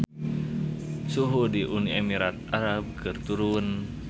Suhu di Uni Emirat Arab keur turun